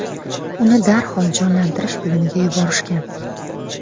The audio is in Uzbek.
Uni darhol jonlantirish bo‘limiga yuborishgan.